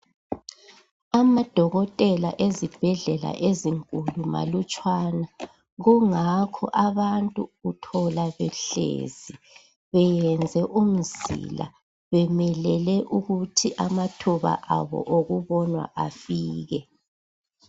Amadokotela ezibhedlela ezinkulu malutshwana. Kungakho abantu uthola behlezi. Belinde ukuba amathuba abo okubonwa afike.